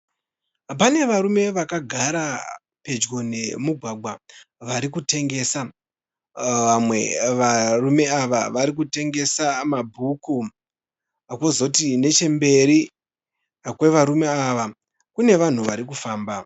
Pane varume vakagara pedyo nemugwagwa varikutengesa. Vamwe varume ava varikutengesa mabhuku. Kwozoti nechemberi kwevarume ava kune vanhu varikufamba.